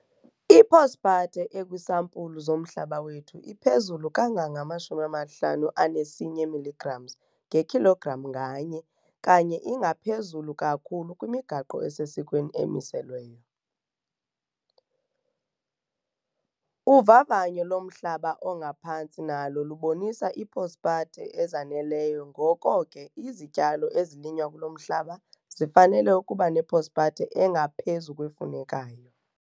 I-phosphate ekwiisampulu zomhlaba wethu iphezulu kangange-51 mg ngekhilogram nganye kanye ingaphezulu kakhulu kwimigaqo esesikweni emiselweyo. Uvavanyo lomhlaba ongaphantsi nalo lubonisa ii-phosphate ezaneleyo ngoko ke izityalo ezilinywa kulo mhlaba zifanele ukuba ne-phosphate engaphezu kwefunekayo.